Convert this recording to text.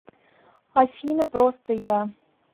афина просто я